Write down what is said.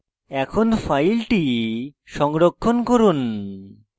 এখন file সংরক্ষণ করুন